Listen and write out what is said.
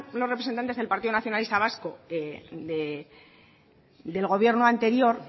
los representantes del partido nacionalista vasco del gobierno anterior